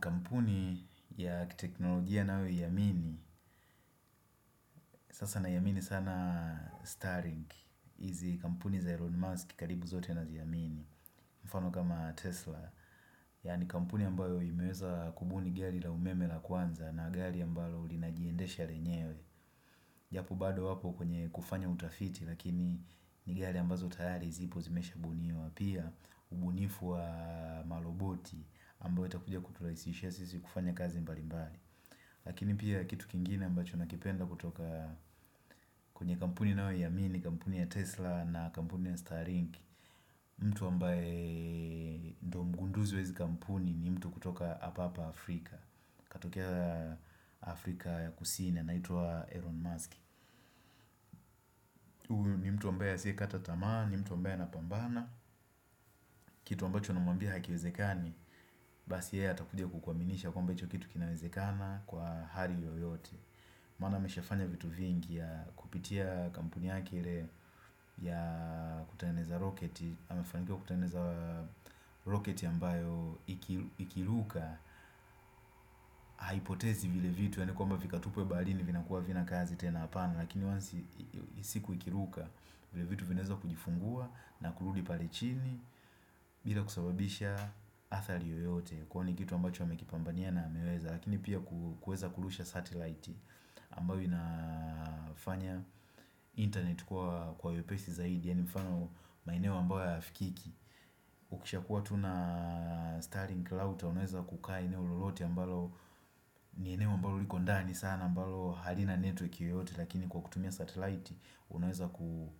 Kampuni ya kiteknolojia nayo iamini Sasa naiya amini sana star link Izi kampuni za Elon Musk karibu zote nazi amini mfano kama Tesla yani kampuni ambayo imeweza kubuni gari la umeme la kwanza na gari ambalo ulinajiendesha renyewe Japo bado apo kwenye kufanya utafiti Lakini ni gari ambazo tayari zipo zimesha buniwa Pia ubunifu wa maroboti ambao itakuja kuturahisishia sisi kufanya kazi mbali mbali Lakini pia kitu kingine ambacho na kipenda kutoka kwenye kampuni ninayo iamini kampuni ya Tesla na kampuni ya Starlink mtu ambaye ndo mgunduzi wa hizi kampuni ni mtu kutoka hapa hapa Afrika Katokea Afrika ya Kusini anaitwa Elon Musk ni mtu ambaye asiye kata tamaa ni mtu ambaye ana pambana Kitu ambacho unamwambia hakiwezekani Basi yeye atakuja kukuaminisha kwamba hicho kitu kinawezekana kwa hali yoyote, Maana ameshafanya vitu vingi ya kupitia kampuni yake ile ya kutengenezaa roketi amefanikiwa kutengeneza roketi ambayo iki ikiruka Haipotezi vile vitu yani kwamba vikatupwe baharini vinakuwa havina kazi tena apana Lakini once ansi siku ikiruka vile vitu vinaeza kujifungua na kurudi pale chini bila kusababisha athari yoyote Kwani kitu ambacho amekipambania na ameweza Lakini pia ku kuweza kurusha satelite ambayo inafanya internet kuwa kwa wepesi zaidi ya ni mfano maeneo ambayo hayafikiki ukisha kuwa tuna starling cloud ya unaweza kukaa eneo lolote ambalo ni eneo mbalo liko ndani sana ambalo halina network yoyote lakini kwa kutumia satellite unaweza ku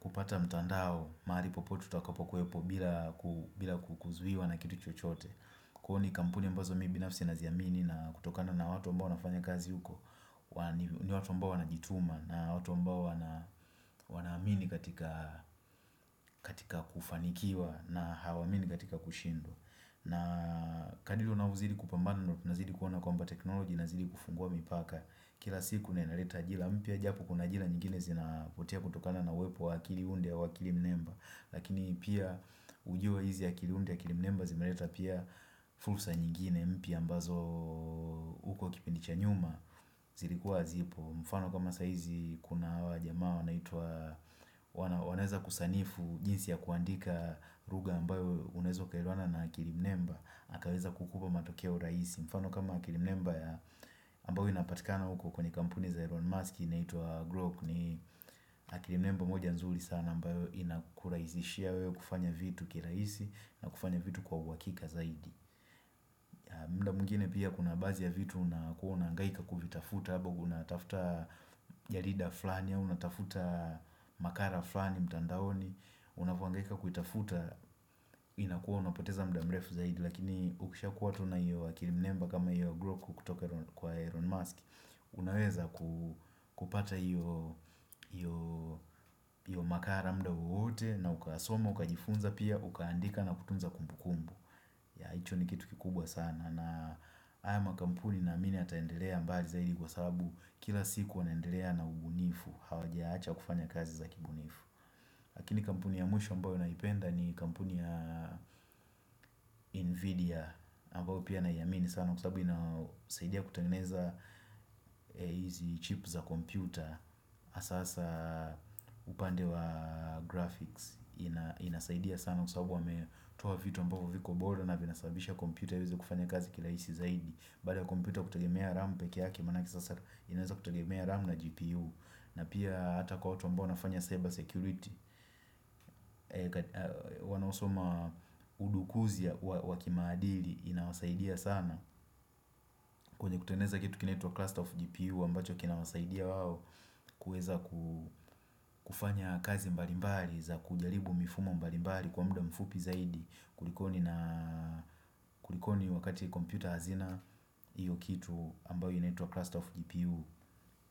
kupata mtandao mahari popote tutakapo kuepo bila ku bila kukuzuiwa na kitu chochote kuhoni kampuni ambazo mi binafsi nazi amini na kutokana na watu ambao wanafanya kazi huko ni watu ambao wanajituma na watu ambao wana wana wana amini katika kufanikiwa na hawamini katika kushindwa na kadri unaozidi kupambana ndo na zidi kuona kwamba teknoloji inazidi kufungua mipaka kila siku na inaleta ajira mpya japo kuna ajila nyingine zinapotea kutokana na uwepo wa akili undia wa akili mnemba lakini pia ujue hizi ya akili undia ya akili mnemba zimereta pia fulsa nyingine mpya mbazo uko kipindi cha nyuma zirikuwa zipo. Mfano kama saabhizi kuna awa jamaa na i wanaweza kusanifu jinsi ya kuandika lugha ambayo unezo ukaelewana na akirimnemba akaweza kukupa matokeo rahisi mfano kama akirimnemba ambayo inapatikana uko kwenye kampuni za Elon Musk na itwa Groke ni akirimnemba moja nzuli sana ambayo inakurahisishia wewe kufanya vitu kilahisi na kufanya vitu kwa uwahakika zaidi. Mda mwingine pia kuna baazi ya vitu na kuona unangaika kuvitafuta, haba guna tafta jarida furani au unatafuta makara frani, mtandaoni, unavo hangaika kuitafuta, inakuwa unapoteza mda mrefu zaidi, lakini ukisha kuwa tuna hiyo akirimnemba kama ya Grok kutoka kwa Elon Musk, unaweza kupata hiyo makara mda wowote na ukasoma, ukajifunza pia, ukaandika na kutunza kumbukumbu. Ya, hicho ni kitu kikubwa sana, na haya makampuni naamini yataendelea mbali zaidi kwa sababu kila siku wanaendelea na ubunifu hawaja acha kufanya kazi za kibunifu lakini kampuni ya mwisho ambao naipenda ni kampuni ya invidia ambao pia naiamini sana kwa sababu inasaidia kutangeneza hizi chips za kompyuta hasa hasa upande wa graphics ina inasaidia sana kwa sababu wametoa vitu ambavo viko bora na vinasababisha kompyuta iweze kufanya kazi kila hizi zaidi mbali ya kompyuta kutagemea rampe kiyaki manaki sasa inaweza kutogemea RAM na GPU na pia hata kwa watu ambao wanafanya cyber security wanaosoma udukuzia waki maadili inawasaidia sana kwenye kutengeneza kitu kinaitwa cluster of GPU ambacho kinawasaidia wao kueza kufanya kazi mbari mbari za kujaribu mifumo mbari mbari kwa mda mfupi zaidi kulikoni wakati computer hazina iyo kitu ambao inatwa cluster of GPU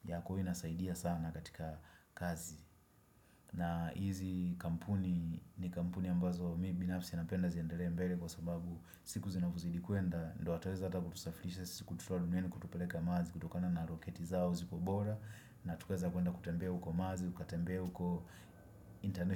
ya kuhu inasaidia sana na katika kazi. Na hizi kampuni ni kampuni ambazo mi binafsi napenda ziendele mbele kwa sababu siku zinavozidi kwenda, ndo ataweza kutusafilisha, siku tuto alunieni, kutupeleka mars kutokana na roketi zao, ziko bora na tukaweza kwenda kutembea uko mazi kutembea uko international.